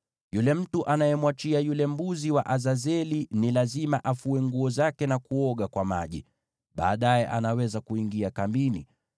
“Yule mtu anayemwachia yule mbuzi wa kubebeshwa dhambi ni lazima afue nguo zake na kuoga kwa maji; baadaye anaweza kuingia kambini.